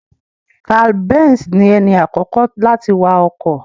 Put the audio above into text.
Karl B3nz ni ẹni àkọ́kọ́ láti wa ọkọ̀.